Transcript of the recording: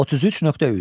33.3.